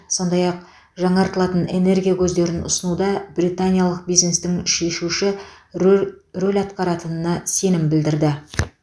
сондай ақ жаңартылатын энергия көздерін ұсынуда британиялық бизнестің шешуші рөр рөл атқаратынына сенім білдірді